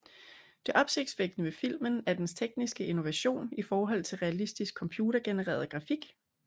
Det opsigtsvækkende ved filmen er dens tekniske innovation i forhold til realistisk computergenereret grafik